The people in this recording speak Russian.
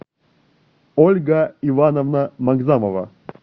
ольга ивановна магзамова